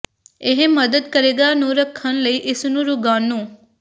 ਇਹ ਮਦਦ ਕਰੇਗਾ ਨੂੰ ਰੱਖਣ ਲਈ ਇਸ ਨੂੰ ਰੋਗਾਣੂ